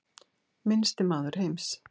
Minnsti maður heims